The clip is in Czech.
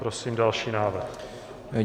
Prosím další návrh.